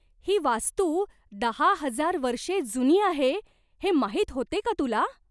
ही वास्तू दहा हजार वर्षे जुनी आहे हे माहीत होते का तुला?